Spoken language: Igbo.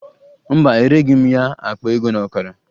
Mba, ereghi m ya akpa ego na ọkara